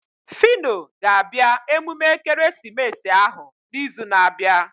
Fino ga-abịa emume ekeresimesi ahụ na izu na abịa